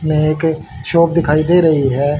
में एक शॉप दिखाई दे रही है।